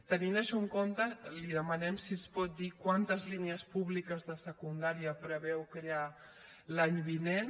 tenint això en compte li demanem si ens pot dir quantes línies públiques de secundària preveu crear l’any vinent